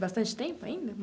Bastante tempo ainda?